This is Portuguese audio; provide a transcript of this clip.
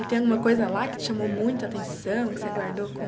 E tem alguma coisa lá que te chamou muita atenção, que você guardou com...